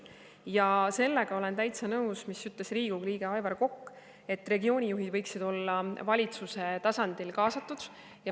Ja sellega olen täitsa nõus, mida ütles Riigikogu liige Aivar Kokk, et regioonijuhid võiksid olla valitsuse tasandil kaasatud ja …